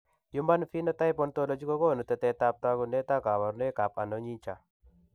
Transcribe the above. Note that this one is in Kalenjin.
Human Phenotype ontology kogonu tetet ab tagunet ak kabarunaik ab Anonychia